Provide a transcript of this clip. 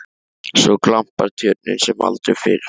Svo glampar Tjörnin sem aldrei fyrr.